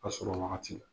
A sɔrɔ wagati